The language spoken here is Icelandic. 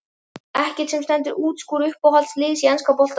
Ekkert sem stendur uppúr Uppáhalds lið í enska boltanum?